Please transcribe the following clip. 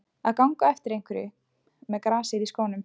Að ganga á eftir einhverjum með grasið í skónum